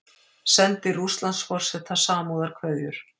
Sendir Rússlandsforseta samúðarkveðjur